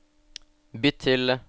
bytt til